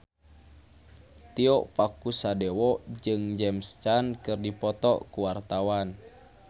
Tio Pakusadewo jeung James Caan keur dipoto ku wartawan